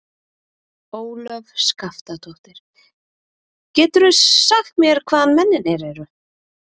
Ólöf Skaftadóttir: Geturðu sagt mér hvaðan mennirnir eru?